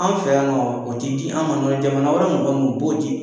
An fɛ yan nɔ, o te di an ma. Dɔ wɛrɛ tɛ, jamana wɛrɛ mɔgɔ nun u b'o di